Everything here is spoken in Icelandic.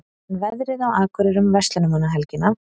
en veðrið á akureyri um verslunarmannahelgina